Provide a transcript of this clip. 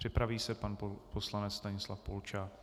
Připraví se pan poslanec Stanislav Polčák.